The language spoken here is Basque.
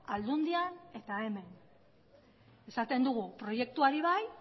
aldundian eta hemen esaten dugu proiektuari bai